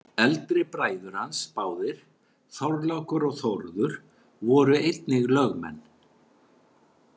Eldri bræður hans báðir, Þorlákur og Þórður, voru einnig lögmenn.